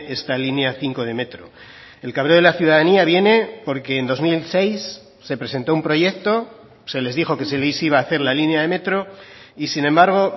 esta línea cinco de metro el cabreo de la ciudadanía viene porque en dos mil seis se presentó un proyecto se les dijo que se les iba a hacer la línea de metro y sin embargo